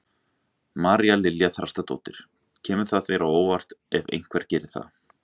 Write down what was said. María Lilja Þrastardóttir: Kemur það þér á óvart ef einhver geri það?